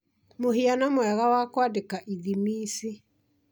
mũhiano mwega wa kwandĩka ithimi ici